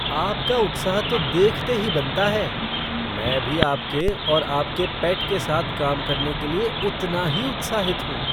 आपका उत्साह तो देखते ही बनता है! मैं भी आपके और आपके पेट के साथ काम करने के लिए उतना ही उत्साहित हूँ।